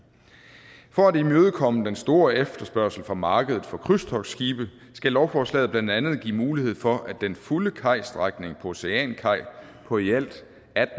for at imødekomme den store efterspørgsel på markedet for krydstogtskibe skal lovforslaget blandt andet give mulighed for at den fulde kajstrækning på oceankaj på i alt